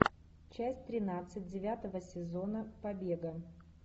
часть тринадцать девятого сезона побега